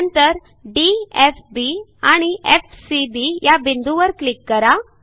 नंतर D F B आणि F C B या बिंदूंवर क्लिक करा